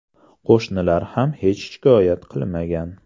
Qo‘shnilar ham hech shikoyat qilmagan.